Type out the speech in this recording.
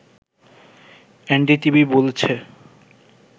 NDTV বলেছে